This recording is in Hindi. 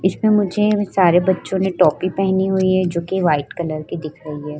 उसमें मुझे सारे बच्चों ने टोपी पहनी हुवी है जोकि वाइट कलर की दिख रही है।